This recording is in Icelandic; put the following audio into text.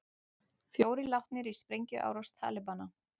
Fjórir látnir í sprengjuárás Talibana